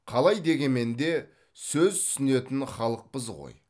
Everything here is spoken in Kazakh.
қалай дегенмен де сөз түсінетін халықпыз ғой